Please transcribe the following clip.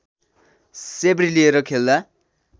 सेब्री लिएर खेल्दा